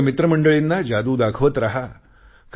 आपल्या मित्रमंडळींना जादू दाखवत राहा